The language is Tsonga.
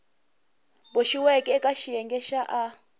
boxiweke eka xiyenge xa a